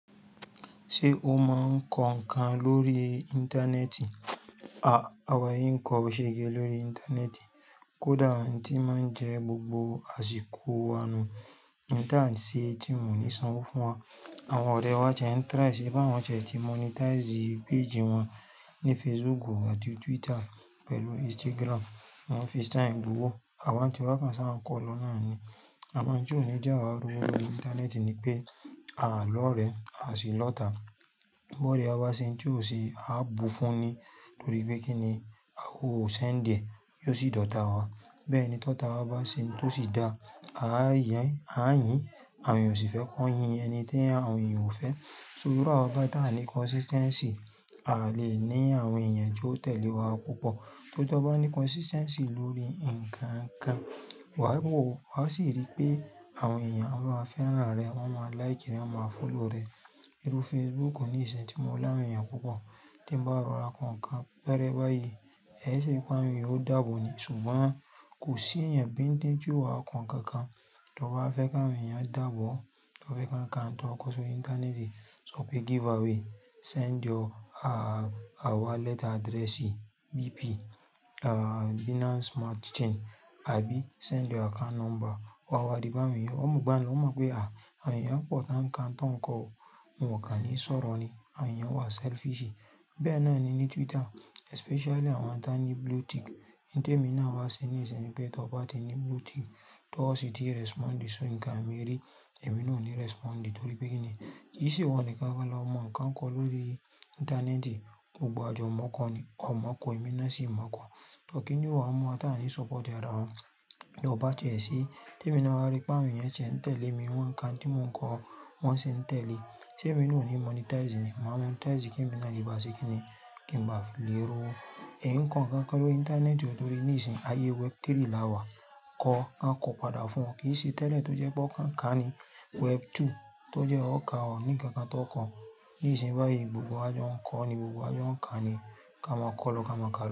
Ṣé o máa ń kọ ǹkan lórí Íńtánẹ́ẹ̀tì? Ah Àwa yín ń kọ ṣẹ́ge lórí Íńtánẹ́ẹ̀tì. Kódà tí máa ń jẹ́ gbogbo àsìkò wa nu, ìtàn ṣé tí wọ́n ní sanwó fún wa. Àwọn ọ̀rẹ́ wá tí ń try, ṣègbé àwọn tí wọ́n ṣẹ̀ ti monetize page wọn ní Facebook àti Twitter pẹ̀lú Instagram, wọ́n fi sàǹ tó wó. Àwa tí wọ́n kàn ṣá n kọ́ lọ náà ni. A mọ̀ pé tí òníjà wá rú wọ lórí Íńtánẹ́ẹ̀tì ni pé, àà lórí rẹ̀, a sì lọ́ta. Bó ore wá bá ṣe ohun tí ó ṣe, a bù fún ni, torí pé kí ni a o send è, yóò sì dòta wa. Bẹ́ẹ̀ ni tó ta wá bá ṣe ohun tó sì da, à yín, à yín, àwọn èèyàn ò sì fẹ́ kàn yin ẹni tí àwọn èèyàn ò fẹ́. So, irú àwa bá dà ní consistency, a le ní àwọn èèyàn tí ó tẹ̀lé wa púpọ̀. Tó bá ní consistency lórí ǹkan ǹkan, wà í wò ó, wà á sì rí pé àwọn èèyàn á máa fẹ́ràn rẹ, wọ́n máa like rẹ, wọ́n máa follow rẹ. Irú Facebook ní ìṣẹ̀ tí mò ń láwùn èèyàn púpọ̀ tí ń bá rọ̀ra kàn ǹkan bẹ́rẹ́ báyìí, ẹ ṣé ipá mi yóò dàbọ ni. Ṣùgbọ́n kò sí ẹ̀yàn bíń díẹ̀ tí ó ha kàn ǹkan kan tó bá fẹ́ kàn èèyàn dàbọ̀ tó fẹ́ kàn ǹkan tó ń kọ̀ sórí Íńtánẹ́ẹ̀tì. So pé giveaway, send your wallet address BP, ah, Binance Smart Chain, àbí send your account number wá wá dìbà èèyàn. Òun ò mọ̀ gbà á ni, òun mọ̀ pé à, àyàn pọ̀ tán ǹkan tó ń kọ, mò kà ní sọ̀rọ̀ ni, àyàn wà selfish. Bẹ́ẹ̀ náà ni ní Twitter, especially àwọn tí wọ́n ní blue tick. Nítè mí náà wá ṣe ní ìṣìn pé tó bá tí ní blue tick, tó ó sì ti respond so ǹkan mi rí, èmi ò ní respond torí pé kí ni, ìṣe wọn ni káńkan lọ́mọ ń kàn kọ́ lórí Íńtánẹ́ẹ̀tì. Gbogbo wà àjọ mọ̀ kọ́ ni, ọ̀ mọ̀ kọ̀, èmi náà sì mọ̀ kọ́. Torí kí ni o mú wà tá ní support ẹ̀dá wọn. Tó bá tiẹ́ sí, tí èmi náà wa rí pé àwọn èèyàn tí ń tẹ̀lé mi wọ́n ǹka oun tí mò ń kọ, wọ́n sì ń tẹ̀lé. Ṣé mi ò ní monetize ni? Màá monetize kí emi ńa le ba se kí ni, kí ń ba fi le rowo Ẹ ń kàn ǹkan pẹ̀lú Íńtánẹ́ẹ̀tì torí ní ìsìn ayé web3 la wà, kọ, a kọ padà fún ọ. Kì í ṣe tẹ́lẹ̀ tó jẹ́ pé ọ̀ kàn ǹkan ni web2 tó jẹ́ ó kà ọ́ ní ǹkan tó kọ̀n. Ní ìsìn báyìí, gbogbo àjọ ń kọ́ ni, gbogbo àjọ ń kà ni, ká máa kọ́ lọ ká máa kà.